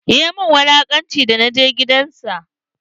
Ya min wulaƙanci da na je gidan sa.